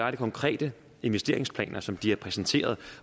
konkrete investeringsplaner som de har præsenteret